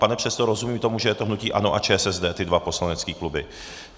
Pane předsedo, rozumím tomu, že je to hnutí ANO a ČSSD, ty dva poslanecké kluby?